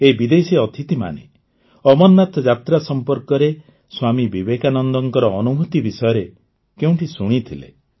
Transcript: ଏହି ବିଦେଶୀ ଅତିଥିମାନେ ଅମରନାଥ ଯାତ୍ରା ସମ୍ପର୍କରେ ସ୍ୱାମୀ ବିବେକାନନ୍ଦଙ୍କ ଅନୁଭୂତି ବିଷୟରେ କେଉଁଠି ଶୁଣିଥିଲେ